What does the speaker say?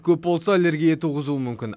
көп болса аллергия туғызуы мүмкін